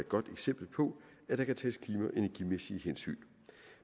godt eksempel på at der kan tages klima og energimæssige hensyn